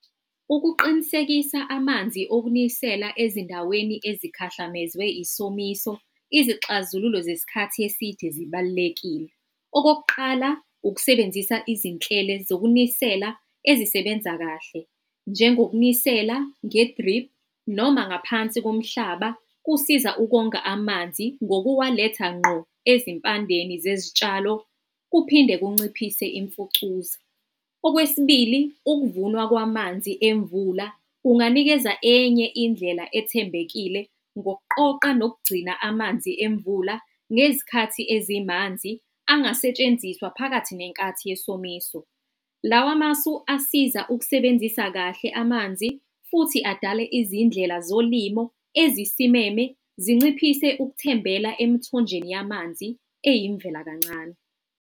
Ukuqinisekisa amanzi okunisela ezindaweni ezikhahlamezwe isomiso, izixazululo zesikhathi eside zibalulekile. Okokuqala, ukusebenzisa izinhlelo zokunisela ezisebenza kahle njengokunisela nge-drip noma ngaphansi komhlaba. Kusiza ukonga amanzi ngokuwaletha ngqo ezimpandeni zezitshalo kuphinde kunciphise imfucuza. Okwesibili ukuvunwa kwamanzi emvula kunganikeza enye indlela ethembekile ngokuqoqa nokugcina amanzi emvula ngezikhathi ezimanzi angasetshenziswa phakathi nenkathi yesomiso. Lawa masu asiza ukusebenzisa kahle amanzi futhi adale izindlela zolimo ezisimeme, zinciphise ukuthembela emithonjeni yamanzi eyimvela kancane.